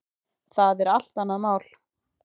Það er allt annað mál.